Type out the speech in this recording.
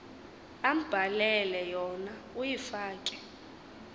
ambhalele yona uyifake